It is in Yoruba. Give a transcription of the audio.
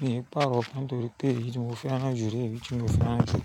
Mi i pàrọ̀ okán torí pé èyí tí mo fẹ́ ráná jù re, èyí tí mo fẹ́ ráná jù.